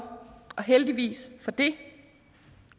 og heldigvis for det